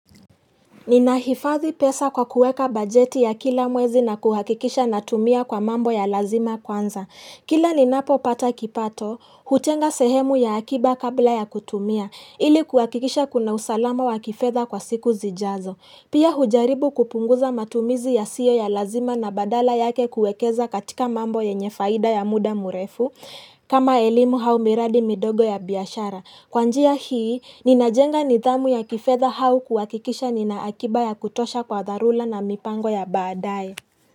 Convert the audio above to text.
Nina hifadhi pesa kwa kueka bajeti ya kila mwezi na kuhakikisha natumia kwa mambo ya lazima kwanza. Kila ninapopata kipato, hutenga sehemu ya akiba kabla ya kutumia, ili kuhakikisha kuna usalama wa kifedha kwa siku zijazo. Pia hujaribu kupunguza matumizi yasiyo ya lazima na badala yake kuekeza katika mambo yenye faida ya muda mrefu, kama elimu au miradi midogo ya biashara. Kwa njia hii, ninajenga nidhamu ya kifedha au kuhakikisha nina akiba ya kutosha kwa dharura na mipango ya badae.